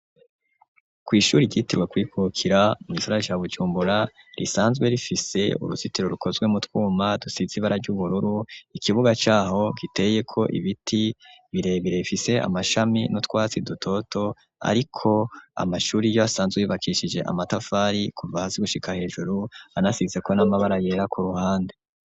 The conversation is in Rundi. kw,ishuri ryitirwa kurikukira mu gisagara ca bujumbura risanzwe rifise uruzitiro rukozwe mwutwuma dusizibara ry'ubururu ikibuga caho giteye ko ibiti birebire gifise amashami nu twatsi dutoto ariko amashuri yo asanzwe yubakishijwe amatafari kuva hasi gushika hejuru anasize ko n'amabara yera ku ruhande